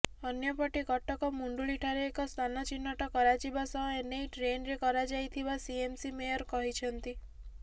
ଅନ୍ୟପଟେ କଟକ ମୁଣ୍ଡଳିଠାରେ ଏକ ସ୍ଥାନ ଚିହ୍ନଟ କରାଯିବା ସହ ଏନେଇ ଟେଣ୍ଡର କରାଯାଇଥିବା ସିଏମସି ମେୟର କହିଛନ୍ତି